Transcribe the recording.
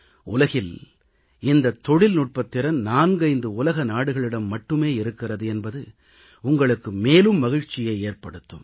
உலகில் இந்தத் தொழில்நுட்பத்திறன் நான்கைந்து உலக நாடுகளிடம் மட்டுமே இருக்கிறது என்பது உங்களுக்கு மேலும் மகிழ்ச்சியை ஏற்படுத்தும்